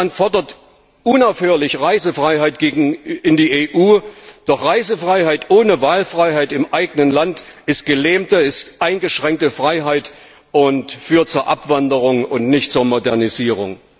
Russland fordert unaufhörlich Reisefreiheit in die EU, doch Reisefreiheit ohne Wahlfreiheit im eigenen Land ist gelähmte, eingeschränkte Freiheit und führt zur Abwanderung und nicht zur Modernisierung.